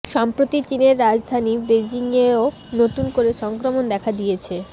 সম্প্রতি চিনের রাজধানী বেজিংয়েও নতুন করে সংক্রমণ দেখা দিয়েছে